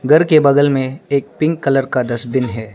घर के बगल में एक पिंक कलर का डस्टबिन है।